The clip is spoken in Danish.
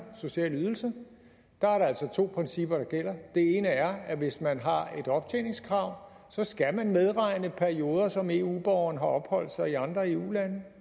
sociale ydelser altså er to principper der gælder det ene er at hvis man har et optjeningskrav skal man medregne perioder som eu borgeren har opholdt sig i andre eu lande